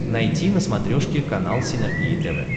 найти на смотрешке канал синергия тв